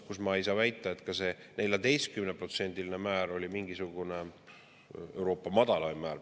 Ma ei saa väita, et ka see 14%‑line määr oli mingisugune Euroopa madalaim määr.